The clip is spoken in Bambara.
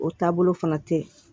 O taabolo fana tɛ ye